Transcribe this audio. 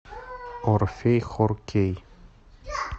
орфей хор кей